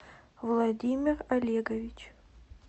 владимир олегович